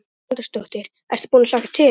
Hugrún Halldórsdóttir: Ertu búinn að hlakka til?